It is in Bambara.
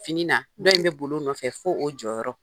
Fini na , dɔ in be boli o nɔfɛ fo o jɔyɔrɔ.